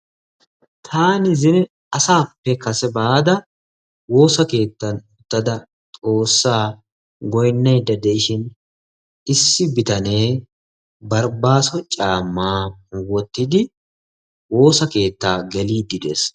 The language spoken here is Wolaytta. Taani zino asaappe kase baada woosa keettan uttada xoossaa goynnayidda de"ishin issi bitanee baribaasso caammaa wottidi woosa keettaa geliiddi de"es.